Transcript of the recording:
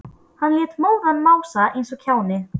Hann lét móðan mása eins og kjáni.